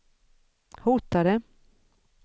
hotade